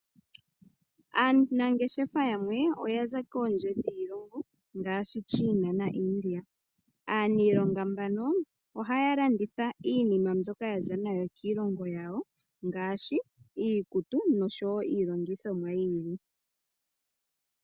Aanangeshefa yamwe oya za kondje yiilongo ngaashi China naIndia. Aanangeshefa mbaka ohaya landitha iinima mbyoka ya za nayo kiilongo yawo ngaashi iikutu noshowo iilongithomwa yi ili.